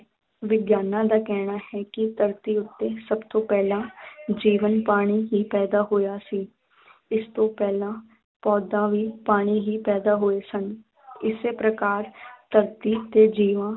ਵਿਗਿਆਨਾਂ ਦਾ ਕਹਿਣਾ ਹੈ ਕਿ ਧਰਤੀ ਉੱਤੇ ਸਭ ਤੋਂ ਪਹਿਲਾਂ ਜੀਵਨ ਪਾਣੀ ਹੀ ਪੈਦਾ ਹੋਇਆ ਸੀ ਇਸ ਤੋਂ ਪਹਿਲਾਂ ਪੌਦਾ ਵੀ ਪਾਣੀ ਹੀ ਪੈਦਾ ਹੋਏ ਸਨ ਇਸੇ ਪ੍ਰਕਾਰ ਧਰਤੀ ਤੇ ਜੀਵਾਂ